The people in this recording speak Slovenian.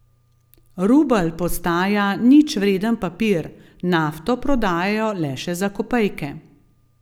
Rubelj postaja ničvreden papir, nafto prodajajo le še za kopejke.